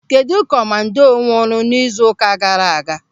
Kedụ komando nwụrụ n'izu ụka gaara aga?